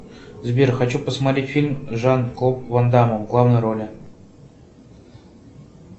сбер хочу посмотреть фильм с жан клод вандамом в главной роли